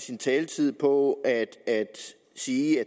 sin taletid på at sige at